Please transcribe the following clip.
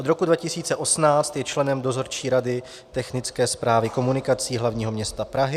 Od roku 2018 je členem Dozorčí rady Technické správy komunikací hlavního města Prahy.